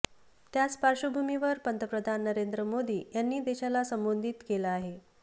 त्याच पार्श्वभूमीवर पंतप्रधान नरेंद्र मोदी यांनी देशाला संबोधित केलं आहे